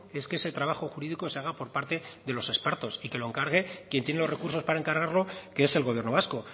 es que ese trabajo jurídico se haga por parte de los expertos y que lo encargue quien tiene los recursos para encargarlo que es el gobierno vasco